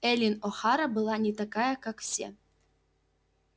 эллин охара была не такая как все